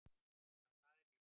Já, það er víst